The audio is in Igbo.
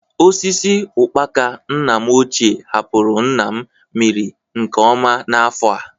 Osisi ụkpaka nna m ochie hapụrụ nna m mịrị nke ọma n'afọ a.